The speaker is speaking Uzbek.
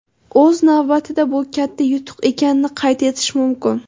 O‘z navbatida bu katta yutuq ekanini qayd etish mumkin.